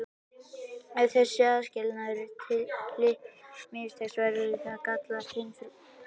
Ef þessi aðskilnaður litninga mistekst verða til gallaðar kynfrumur.